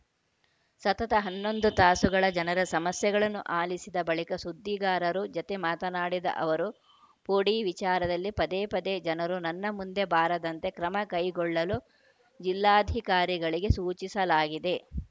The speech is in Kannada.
ಸತತ ಹನ್ನೊಂದು ತಾಸುಗಳ ಜನರ ಸಮಸ್ಯೆಗಳನ್ನು ಆಲಿಸಿದ ಬಳಿಕ ಸುದ್ದಿಗಾರರು ಜತೆ ಮಾತನಾಡಿದ ಅವರು ಪೋಡಿ ವಿಚಾರದಲ್ಲಿ ಪದೇ ಪದೇ ಜನರು ನನ್ನ ಮುಂದೆ ಬಾರದಂತೆ ಕ್ರಮ ಕೈಗೊಳ್ಳಲು ಜಿಲ್ಲಾಧಿಕಾರಿಗಳಿಗೆ ಸೂಚಿಸಲಾಗಿದೆ